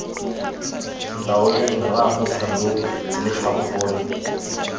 ntaoleng rraago thando elatlhoko gore